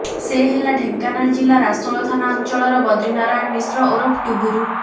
ସେ ହେଲା ଢେଙ୍କାନାଳ ଜିଲ୍ଲା ରାସୋଳ ଥାନା ଅଞ୍ଚଳର ବଦ୍ରିନାରାୟଣ ମିଶ୍ର ଓରଫ ଟୁବୁରୁ